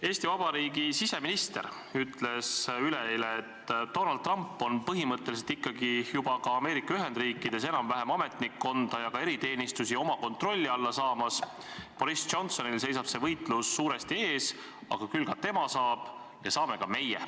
Eesti Vabariigi siseminister ütles üleeile, et Donald Trump on põhimõtteliselt ikkagi Ameerika Ühendriikides enam-vähem ametnikkonda ja ka eriteenistusi oma kontrolli alla saamas, Boris Johnsonil seisab see võitlus suuresti ees, aga küll ka tema saab ja saame ka meie.